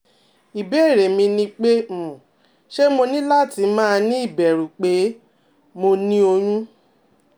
Ibeere mi ni pe um ṣe mo ni lati ma ni ibẹru pe mo um ni oyun?